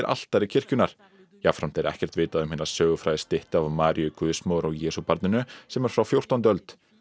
altari kirkjunnar jafnframt er ekkert vitað um hina sögufrægu styttu af Maríu guðsmóður og Jesúbarninu sem er frá fjórtándu öld